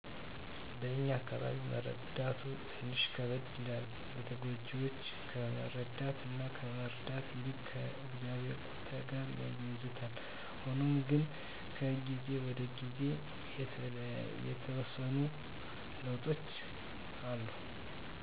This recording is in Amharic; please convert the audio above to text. በእኛ አካባቢ መረዳቱ ትንሽ ከበደ ይላል። ተጎጅወችን ከመረዳት እና ከመረዳት ይልቅ ከ እግዚአብሄር ቁጣ ጋር ያያይዙታል። ሁኖም ግነ ከጊዜ ወደ ጊዜ የተወሰኑ ለዉጦች አሉ